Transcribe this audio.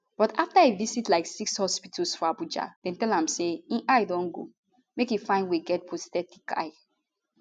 but after e visit like six hospitals for abuja dem tell am say im eye don go make e find way get prosthetic eye